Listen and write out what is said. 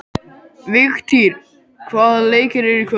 Vigtýr, hvaða leikir eru í kvöld?